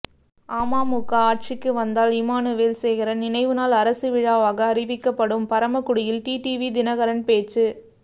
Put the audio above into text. அமமுக ஆட்சிக்கு வந்தால் இமானுவேல் சேகரன் நினைவுநாள் அரசு விழாவாக அறிவிக்கப்படும் பரமக்குடியில் டிடிவி தினகரன் பேச்சு